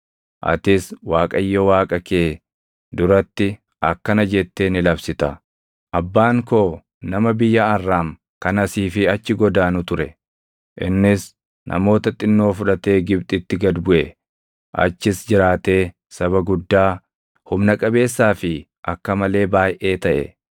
Atis Waaqayyo Waaqa kee duratti akkana jettee ni labsita; “Abbaan koo nama biyya Arraam kan asii fi achi godaanu ture; innis namoota xinnoo fudhatee Gibxitti gad buʼe; achis jiraatee saba guddaa, humna qabeessaa fi akka malee baayʼee taʼe.